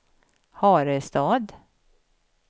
Harestad